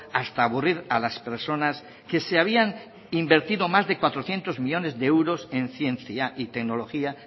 hasta aburrir a las personas que se habían invertido más de cuatrocientos millónes de euros en ciencia y tecnología